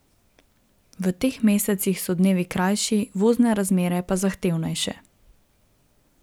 V teh mesecih so dnevi krajši, vozne razmere pa zahtevnejše.